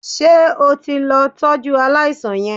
Ṣé o ti lọ tọ́jú aláìsàn yẹn?